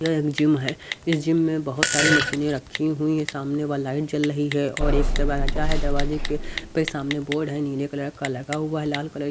ये एक जिम है इस जिम में बहुत सारी मशीनें रखी हुई हैं सामने व लाइट जल रही है और एक दरवाजा है दरवाजे के पे सामने बोर्ड है नीले कलर का लगा हुआ है लाल कलर --